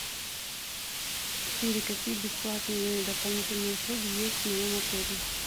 сири какие бесплатные дополнительные услуги есть в моем отеле